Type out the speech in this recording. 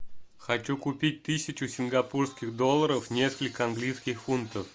хочу купить тысячу сингапурских долларов несколько английских фунтов